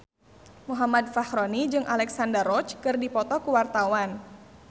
Muhammad Fachroni jeung Alexandra Roach keur dipoto ku wartawan